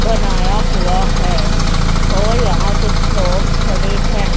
बनाया हुआ है और यहां कुछ लोग खड़े हैं।